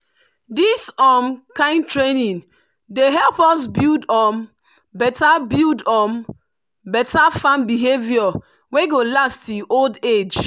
this um kind training dey help us build um better build um better farm behavior wey go last till old age.